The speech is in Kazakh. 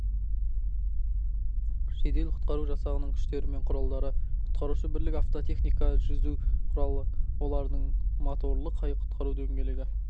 жедел-құтқару жасағының күштері мен құралдары құтқарушы бірлік автотехника жүзу құралы олардың моторлы қайық құтқару дөңгелегі